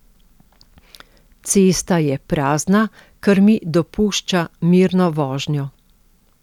Cesta je prazna, kar mi dopušča mirno vožnjo.